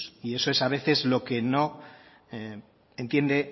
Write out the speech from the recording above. y eso es a veces lo que no entiende